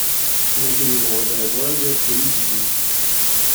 набери молодая гвардия эйч ди